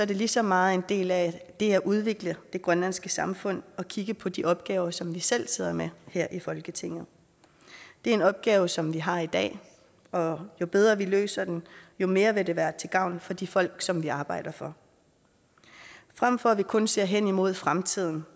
det lige så meget en del af det at udvikle det grønlandske samfund og kigge på de opgaver som vi selv sidder med her i folketinget det er en opgave som vi har i dag og jo bedre vi løser den jo mere vil det være til gavn for de folk som vi arbejder for frem for at vi kun ser hen imod fremtiden